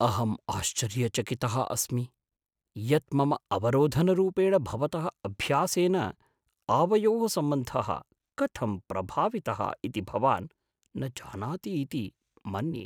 अहम् आश्चर्यचकितः अस्मि यत् मम अवरोधनरूपेण भवतः अभ्यासेन आवयोः सम्बन्धः कथं प्रभावितः इति भवान् न जानाति इति मन्ये।